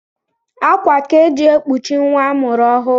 Akwa ka e ji ekpochi nwa a mụrụ ọhụụ